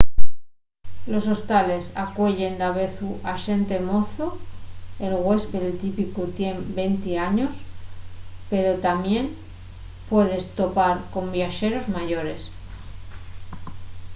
los hostales acueyen davezu a xente mozo el güéspede típicu tien venti años pero tamién puedes topar con viaxeros mayores